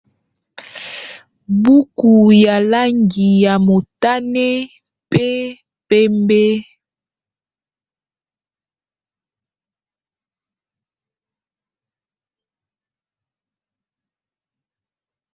Buku ya langi ya motane mpe pembe.